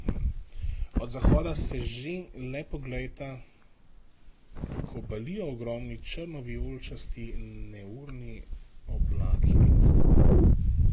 Od zahoda se že, le poglejta, kobalijo ogromni, črno vijoličasti neurni oblaki.